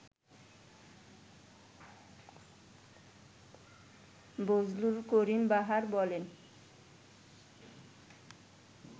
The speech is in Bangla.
বজলুল করিম বাহার বলেন